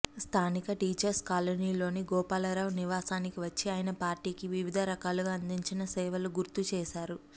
స్థానిక టీచర్స్ కాలనీలోని గోపాలరావు నివాసానికి వచ్చి ఆయన పార్టీకి వివిధ రకాలుగా అందించిన సేవలు గుర్తు చేశారు